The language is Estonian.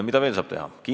Mida veel saab teha?